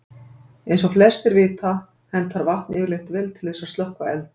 Eins og flestir vita hentar vatn yfirleitt vel til þess að slökkva eld.